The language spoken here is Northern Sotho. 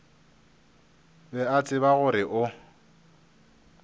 be a tseba gore o